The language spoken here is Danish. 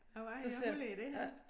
A hvad ja hvor ligger det henne?